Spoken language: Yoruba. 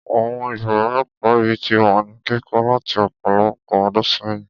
Àwọn yàrá ẹ̀kọ́ yìí ti wà ní kíkọ́ láti ọ̀pọ̀lọpọ̀ ọdún sẹ́yìn.